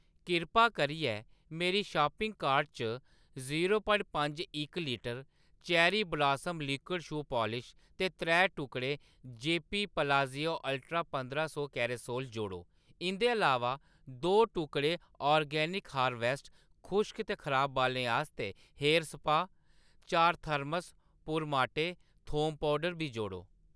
किरपा करियै मेरी शापिंग कार्ट च जीरो प्वाइंट पंज इक litre cherry blossom liquid shoe polish ते त्रै टुकड़े जेपी पलाज़ियो अल्ट्रा पंदरा सौ कैसरोल जोड़ो। इंʼदे अलावा, दो टुकड़े आर्गेनिक हारवेस्ट खुश्क ते खराब बालें आस्तै हेयर स्पाऽ, चार थर्मस पुरमाटे थोम पौउडर बी जोड़ो।